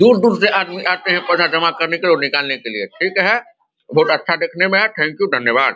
दूर-दूर से आदमी आते हैं पैसा जमा करने के लिए और निकालने के लिए। ठीक है! बोहोत अच्छा देखने में है। Thank you ! धन्यवाद!